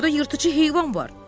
Orda yırtıcı heyvan var.